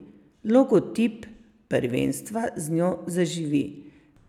Logotip prvenstva z njo zaživi.